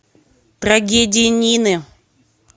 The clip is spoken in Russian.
трагедия нины